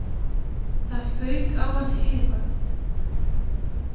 Það fauk á hann heyvagn